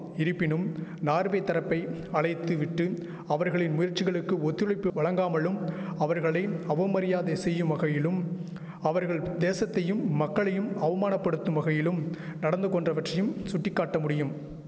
இரிப்பினும் Norway தரப்பை அழைத்து விட்டு அவர்களின் முயற்சிகளுக்கு ஒத்துழைப்பு வழங்காமலும் அவர்களை அவமரியாதை செய்யும் வகையிலும் அவர்கள் தேசத்தையும் மக்களையும் அவமானபடுத்தும் வகையிலும் நடந்துகொண்டவற்றையும் சுட்டிக்காட்ட முடியும்